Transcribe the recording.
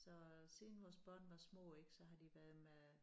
Så siden vores børn var små ik så har de været med